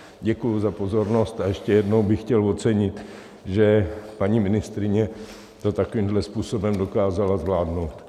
Děkuji za pozornost a ještě jednou bych chtěl ocenit, že paní ministryně to takovýmto způsobem dokázala zvládnout.